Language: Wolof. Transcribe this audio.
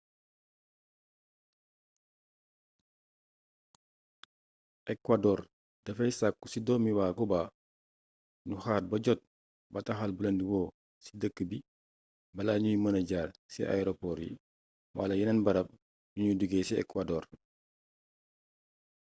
ekwadoor dafay sàkku ci doomi waa cuba ñu xaar ba jot bataaxal bulen di woo ci dëk bi balaa ñuy mëna jaar ci aeropoor yi wala yeneen barab yu ñuy duggee ci ekwadoor